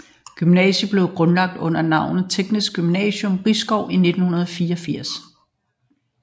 Gymnasiet blev grundlagt under navnet Teknisk Gymnasium Risskov i 1984